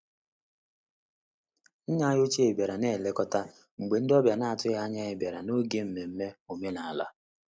Nne anyị ochie bịara na-elekọta mgbe ndị ọbịa na-atụghị anya ya bịara n'oge nmenme omenala.